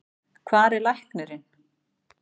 Hvar er læknirinn?